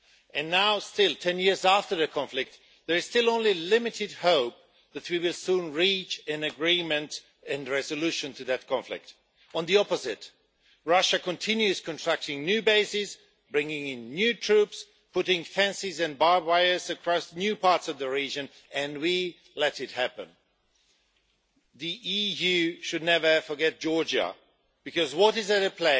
And now, ten years after the conflict, there is still only limited hope that we will soon reach an agreement and a resolution to that conflict. Quite the opposite Russia continues contracting new bases, bringing in new troops, putting fences and barbed wire across new parts of the region, and we let it happen. The EU should never forget Georgia, because what is at stake